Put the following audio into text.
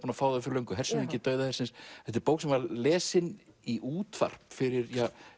að fá þau fyrir löngu hershöfðingi dauða hersins þetta er bók sem var lesin í útvarp fyrir